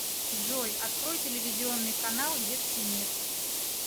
джой открой телевизионный канал детский мир